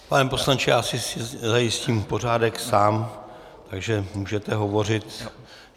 Pane poslanče, já si zajistím pořádek sám, takže můžete hovořit.